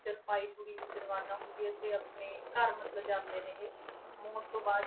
ਜਲਪਾਈਗੁੜੀ ਵਿੱਚ ਰਵਾਨਾ ਹੁੰਦੀ ਹੈ ਤੇ ਆਪਣੇ ਘਰ ਮਤਲਬ ਜਾਂਦੇ ਨੇ ਇਹ, ਮੌਤ ਤੋਂ ਬਾਅਦ